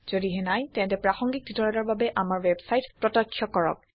যদিহে নাই তেন্তে প্ৰাসংগিক টিউটৰিয়েলৰ বাবে আমাৰ ৱেবছাইট প্ৰত্যক্ষ কৰক